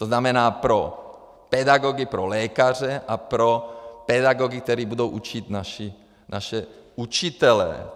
To znamená pro pedagogy pro lékaře a pro pedagogy, kteří budou učit naše učitele.